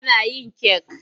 Tana yin kek.